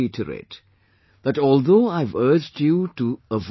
Let me reiterate, that although I have urged you to